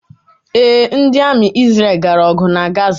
Ee, ndi Ami Isreal gara ogu na Gaza